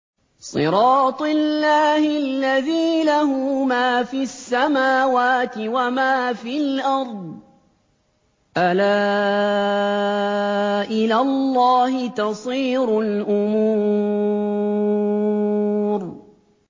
صِرَاطِ اللَّهِ الَّذِي لَهُ مَا فِي السَّمَاوَاتِ وَمَا فِي الْأَرْضِ ۗ أَلَا إِلَى اللَّهِ تَصِيرُ الْأُمُورُ